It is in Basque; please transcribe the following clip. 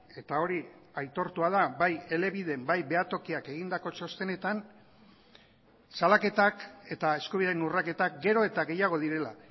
eta hori aitortua da bai elebiden bai behatokiak egindako txostenetan salaketak eta eskubideen urraketak gero eta gehiago direla